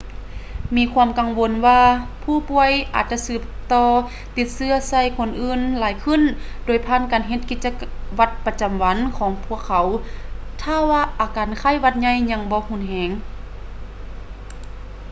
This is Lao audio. ມີຄວາມກັງວົນວ່າຜູ້ປ່ວຍອາດຈະສືບຕໍ່ຕິດເຊື້ອໃສ່ຄົນອື່ນຫຼາຍຂຶ້ນໂດຍຜ່ານການເຮັດກິດຈະວັດປະຈຳວັນຂອງພວກເຂົາຖ້າວ່າອາການໄຂ້ຫວັດໃຫຍ່ຍັງບໍ່ຮຸນແຮງ